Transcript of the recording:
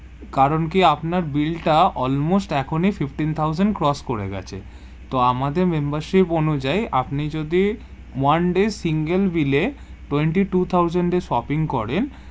কারণ কি আপনার bill টা almost fifteen thousand cross করে গেছে, তো আমাদের membership অনুজাই আপনি যদি one day single bill এ twenty-two thousand এর shopping করেন,